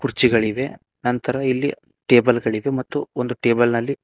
ಕುರ್ಚಿಗಳಿವೆ ನಂತರ ಇಲ್ಲಿ ಟೇಬಲ್ ಗಳಿವೆ ಮತ್ತು ಒಂದು ಟೇಬಲ್ ನಲ್ಲಿ--